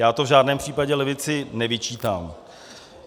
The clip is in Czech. Já to v žádném případě levici nevyčítám.